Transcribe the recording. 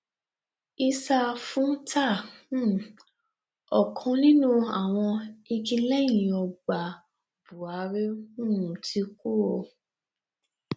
issa fúntà um ọ̀kan nínú àwọn igi lẹyìn ọgbà búhárì ti um kú o